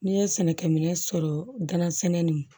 N'i ye sɛnɛkɛminɛ sɔrɔ gansɛnɛ nin